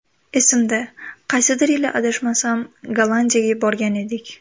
Esimda, qaysidir yili adashmasam Gollandiyaga borgan edik.